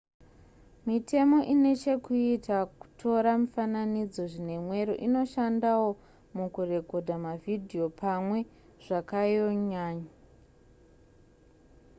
mitemo inechekuita kutora mifananidzo zvinemwero inoshandawo mukurekodha mavhidhiyo pamwe zvakayonyanya